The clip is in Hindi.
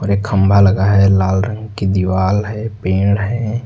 एक खंभा लगा है लाल रंग की दीवाल है पेड़ हैं।